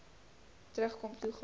terugkom toe gaan